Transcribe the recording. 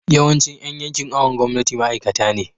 yawancin Yan yankin awon gomnati ma'aikata ne